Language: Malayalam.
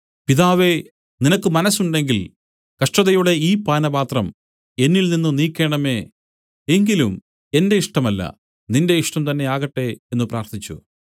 പിതാവേ നിനക്ക് മനസ്സുണ്ടെങ്കിൽ കഷ്ടതയുടെ ഈ പാനപാത്രം എന്നിൽ നിന്നു നീക്കേണമേ എങ്കിലും എന്റെ ഇഷ്ടമല്ല നിന്റെ ഇഷ്ടം തന്നെ ആകട്ടെ എന്നു പ്രാർത്ഥിച്ചു